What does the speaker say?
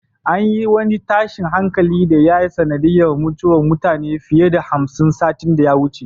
An yi wani tashin hankali da ya yi sanadiyar mutuwar mutane fiye da hamsin satin da ya wuce.